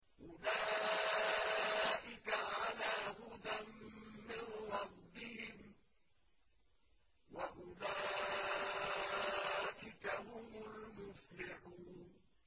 أُولَٰئِكَ عَلَىٰ هُدًى مِّن رَّبِّهِمْ ۖ وَأُولَٰئِكَ هُمُ الْمُفْلِحُونَ